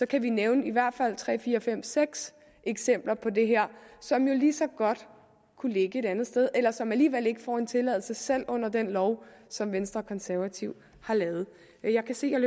kan vi nævne i hvert fald tre fire fem seks eksempler på det her som jo lige så godt kunne ligge et andet sted eller som alligevel ikke får en tilladelse selv under den lov som venstre og konservative har lavet jeg kan se jeg